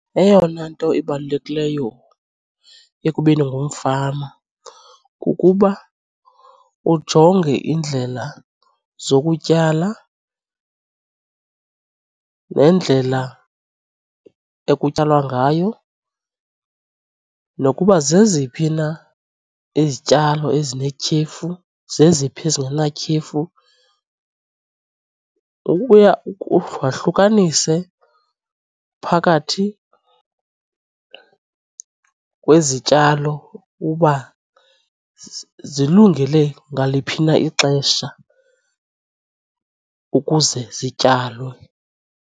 Eyona nto ibalulekileyo ekubeni ngumfama kukuba ujonge iindlela zokutyala nendlela ekutyalwa ngayo nokuba zeziphi na izityalo ezinetyhefu zeziphi ezingenatyhefu, wahlukanise phakathi kwezityalo uba zilungele ngaliphi na ixesha ukuze zityalwe.